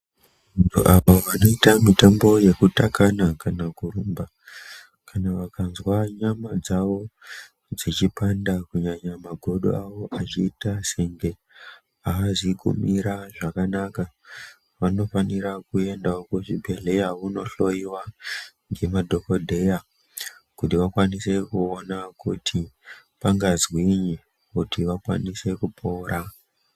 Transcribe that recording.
Mitombo yekutakana kana kurumba vakanzwa nyama dzavo dzavo dzeipanda kunyanya magodo avo achiitasenge aazi kumira zvakanaka vanofanira kuendawo kuzvibhehleya vondohloiwa ngemadokodheya kuti vakwanise kuona kuti pangazwinyi kuti vakwanise kupora